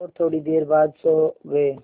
और थोड़ी देर बाद सो गए